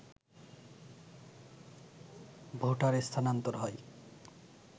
voter স্থানান্তর হয়